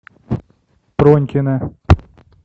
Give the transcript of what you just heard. пронькина